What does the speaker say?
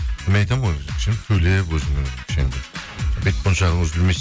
мен айтамын ғой сөйлеп өзінің бет мойыншағын үзілмес